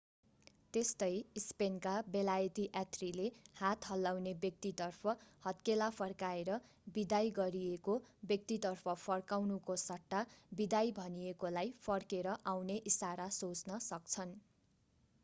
त्यस्तै स्पेनका बेलायती यात्रीले हात हल्लाउने व्यक्तितर्फ हत्केला फर्काएर बिदाई गरिएको व्यक्तितर्फ फर्काउनुको सट्टा बिदाई भनिएकोलाई फर्केर आउने इशारा सोच्न सक्छन्।